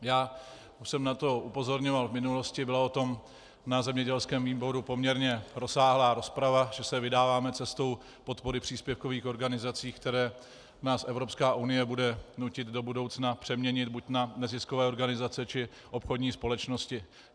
Už jsem na to upozorňoval v minulosti, byla o tom na zemědělském výboru poměrně rozsáhlá rozprava, že se vydáváme cestou podpory příspěvkových organizací, které nás Evropská unie bude nutit do budoucna přeměnit buď na neziskové organizace, či obchodní společnosti.